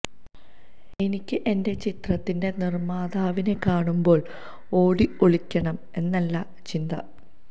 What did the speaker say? എനിക്ക് എന്റെ ചിത്രത്തിൻറെ നിര്മ്മാതാവിനെ കാണുമ്പോൾ ഓടി ഒളിക്കണം എന്നല്ല ചിന്ത